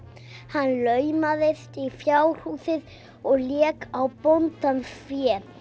hann laumaðist í fjárhúsin og lék á bóndans fé